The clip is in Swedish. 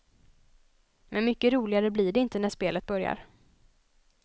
Men mycket roligare blir det inte när spelet börjar.